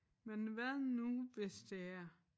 Men hvad nu hvis det er?